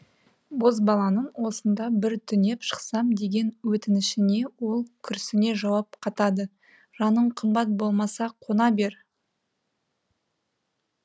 бозбаланың осында бір түнеп шықсам деген өтінішіне ол күрсіне жауап қатады жаның қымбат болмаса қона бер